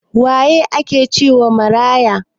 Waye ake cewa maraya?